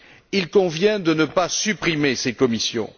Il convient de ne pas supprimer ces commissions.